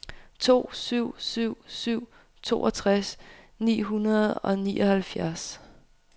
to syv syv syv toogtres ni hundrede og nioghalvfjerds